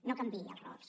no canviï els rols